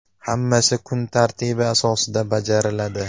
Hammasi kun tartibi asosida bajariladi.